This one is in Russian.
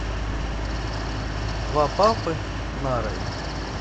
два папы нарой